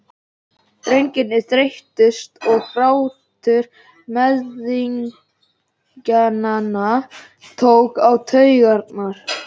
Drengirnir þreyttust og grátur mæðginanna tók á taugarnar.